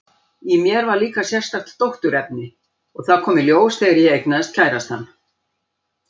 Í mér var líka sérstakt dótturefni, og það kom í ljós þegar ég eignaðist kærastann.